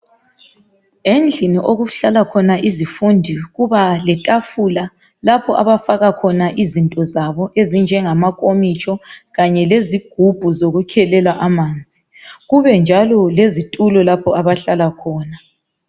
Endlini okuhlala khona izifundi kuba letafula lapho abafaka khona izinto zabo ezinjengama nkomitsho kanye lezigubhu zokukhelela amanzi kube njalo lezitulo lapho abahlala khona.